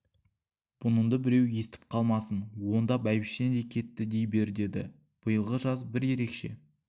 бұнынды біреу естіп қалмасын онда бәйбішең де кетті дей бер деді биылғы жаз бір ерекше